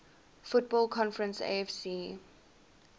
football conference afc